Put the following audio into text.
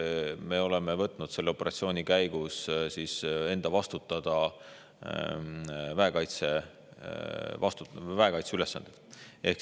Me oleme võtnud selle operatsiooni käigus enda vastutada väekaitse ülesanded.